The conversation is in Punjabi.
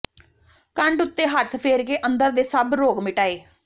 ਕੰਡ ਉੱਤੇ ਹੱਥ ਫੇਰ ਕੇ ਅੰਦਰ ਦੇ ਸਭ ਰੋਗ ਮਿਟਾਏ